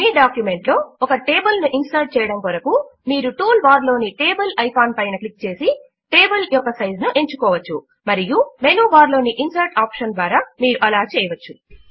మీ document లో ఒక table ను ఇన్సర్ట్ చేయడము కొరకు మీరు టూల్ బార్ లోని టేబుల్ ఐకాన్ పైన క్లిక్ చేసి టేబుల్ యొక్క సైజ్ ను ఎంచుకోవచ్చు మరియు మెనూ బార్ లోని ఇన్సర్ట్ ఆప్షన్ ద్వారా మీరు అలా చేయవచ్చు